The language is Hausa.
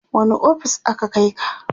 wani ofis aka Kai ka?